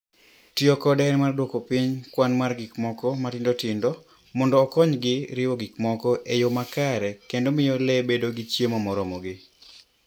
Tiyo kode en mar duoko piny kwan mar gik moko matindo tindo mondo okonygi riwo gik moko e yo makare kendo miyo le obed gi chiemo moromogi.